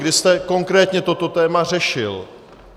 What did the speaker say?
Kdy jste konkrétně toto téma řešil?